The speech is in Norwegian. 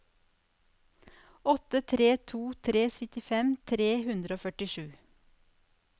åtte tre to tre syttifem tre hundre og førtisju